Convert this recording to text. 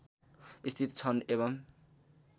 स्थित छन् एवं